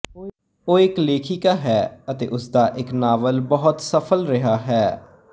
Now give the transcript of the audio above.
ਉਹ ਇੱਕ ਲੇਖਿਕਾ ਹੈ ਅਤੇ ਉਸਦਾ ਇੱਕ ਨਾਵਲ ਬਹੁਤ ਸਫਲ ਰਿਹਾ ਹੈ